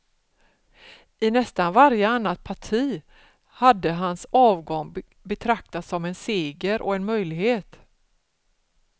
I nästan varje annat parti hade hans avgång betraktats som en seger och en möjlighet.